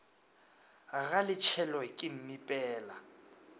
ga le tshelwe ke mmipela